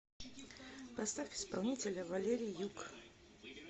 поставь исполнителя валерий юг